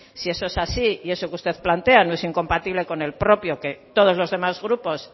si eso es así y eso que usted plantea no es incompatible con el propio todos los demás grupos